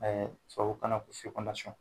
Tubabu kana ko